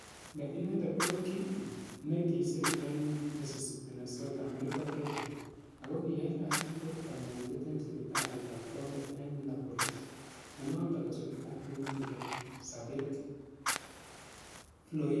Ne inendet ko ki ne kisir ing Mrs Minnesota America Pageant , ako kiai kasit ko kanyoindet ing siptalit ap county ing Minneapolis, ne notok ko siptalit ne kipete sabet Floyd.